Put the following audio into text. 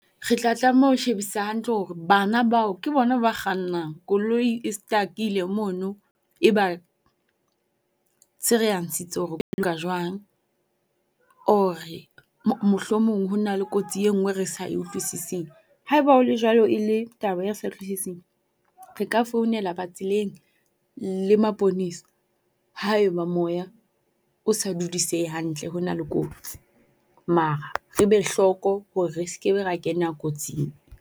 Re tla tlameha ho shebisisa hantle hore bana bao ke bona ba kgannang. Koloi e stuck-ile mono e ba tsherehantshitse . Or-e mohlomong hona le kotsi engwe e re sa e utlwisising. Haeba ho le jwalo e le taba e re sa e utlwisising, re ka founela ba tseleng le maponesa haeba moya o sa dudisehe hantle ho na le kotsi. Mar re be hloko hore re se ke be ra kena kotsing.